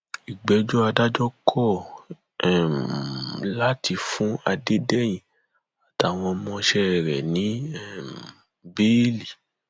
ìgbẹjọ adájọ kọ um láti fún adédèyìn àtàwọn ọmọọṣẹ rẹ ní um bẹẹlì